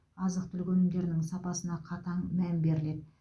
азық түлік өнімдерінің сапасына қатаң мән беріледі